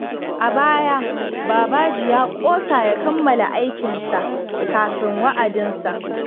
A baya, Babaji ya ƙosa ya kammala aikin sa kafin wa’adinsa.